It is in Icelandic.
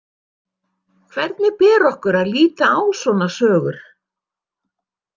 Hvernig ber okkur að líta á svona sögur?